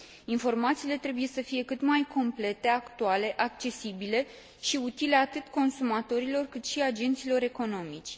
Informațiile trebuie să fie cât mai complete, actuale, accesibile și utile atât consumatorilor, cât și agenților economici.